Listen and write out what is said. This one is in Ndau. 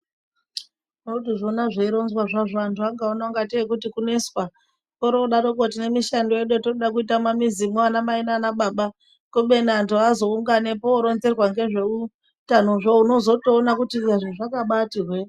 Tinoto ona zvei rozwa zvo antu akaona kunge tee kuti kuneswa ori odaroko tine mishando yedu yatinoda kuita mu mizi medu ana mai nana baba kubeni antu azo unganepo oronzerwa ne zveutano zvo onozotoona kuti zvazvakabaiti hwe.